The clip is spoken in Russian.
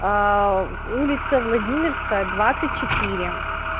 аа улица владимирская двадцать четыре